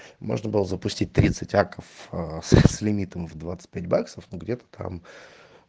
можно было запустить тридцать аков с лимитом в двадцать пять баксов ну где-то там